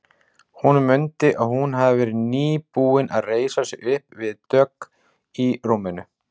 Hún mundi að hún hafði verið nýbúin að reisa sig upp við dogg í rúminu.